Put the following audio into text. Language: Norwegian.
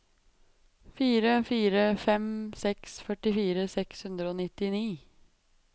fire fire fem seks førtifire seks hundre og nittini